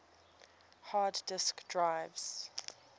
hard disk drives